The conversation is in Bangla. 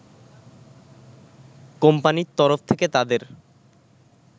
কোম্পানির তরফ থেকে তাদের